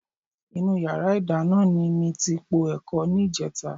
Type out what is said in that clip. Inú yàrá ìdáná ni mi ti po ẹ̀kọ ní ìjẹta